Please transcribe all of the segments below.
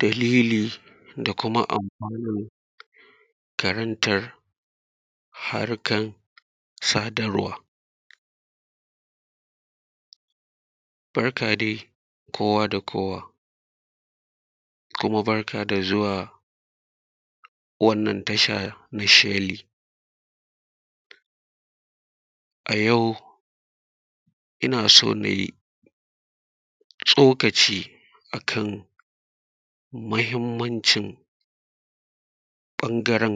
Dalili da kuma amfanan karantar sadarwa. Barka dai kowa da kowa, kuma barka da zuwa wannan tasha na sheli. A jau ina so ne nai tsokaci, a kan muhimmancin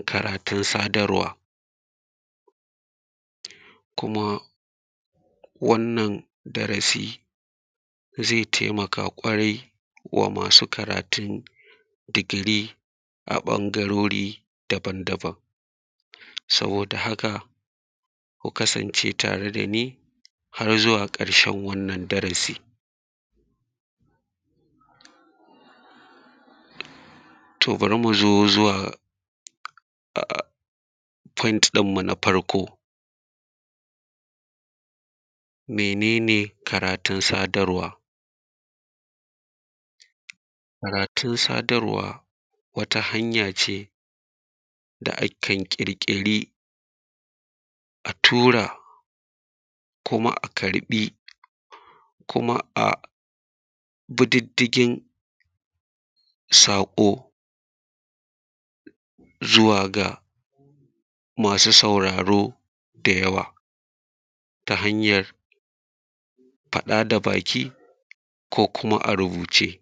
karatun sadarwa. Kuma wannan darasi zai taimaka kwarai da gaske wa masu karatun digiri a ɓangarori daban-daban. Saboda haka ku kasance tare da ni, har zuwa ƙarshen wannan darasi. To bari mu zo zuwa a’a foint ɗinmu na farko. Mene ne karatun sadarwa? Karatun sadarwa wata hanya ce da akan ƙirƙiri, a tura kuma a karɓi, kuma a bi diddigin saƙo, zuwa ga masu sauraro da yawa. Ta hanyar faɗa da baki ko kuma a rubuce.